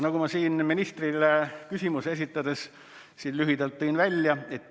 Nagu ma ministrile küsimust esitades lühidalt tõin välja ...